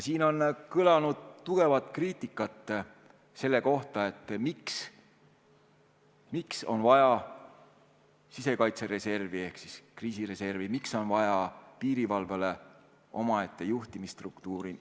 Siin on kõlanud tugevat kriitikat selle kohta, miks on vaja sisekaitsereservi ehk kriisireservi, miks on vaja piirivalvele omaette juhtimisstruktuuri.